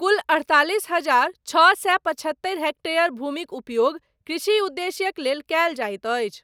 कुल, अड़तालिस हजार छओ सए पचहत्तरि हेक्टेयर भूमिक उपयोग, कृषि उद्देश्यक लेल कयल जाइत अछि।